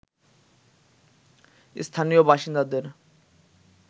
স্থানীয় বাসিন্দাদের